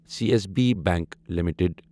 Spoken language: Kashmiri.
C S B bank limited